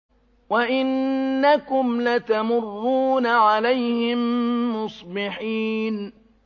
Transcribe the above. وَإِنَّكُمْ لَتَمُرُّونَ عَلَيْهِم مُّصْبِحِينَ